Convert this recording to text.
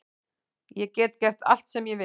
Ég get gert allt sem ég vil